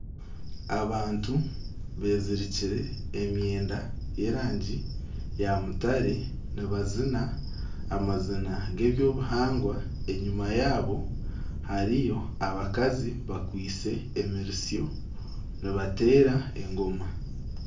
Abantu bezirikire emyenda y'erangi ya mutare nibazina amazina g'ebyobuhangwa enyima yabo hariyo abakazi bakwaitse emiritsyo nibateera engoma.